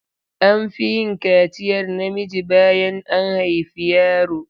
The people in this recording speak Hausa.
An fi yin kaciyar namiji bayan an haifi yaro.